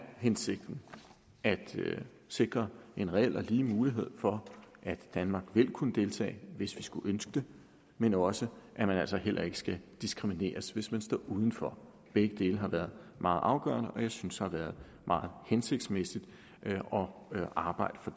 hensigten at sikre en reel og lige mulighed for at danmark vil kunne deltage hvis vi skulle ønske det men også at man altså heller ikke skal diskrimineres hvis man står uden for begge dele har været meget afgørende og jeg synes det har været meget hensigtsmæssigt at arbejde for